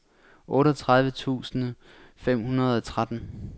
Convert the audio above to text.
otteogtredive tusind fem hundrede og tretten